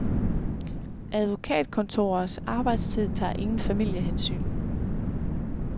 Advokatkontorers arbejdstid tager ingen familiehensyn.